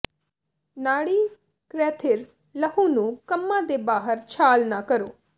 ਨਾੜੀ ਕਰੈਥਿਰ ਲਹੂ ਨੂੰ ਕੰਮਾ ਦੇ ਬਾਹਰ ਛਾਲ ਨਾ ਕਰੋ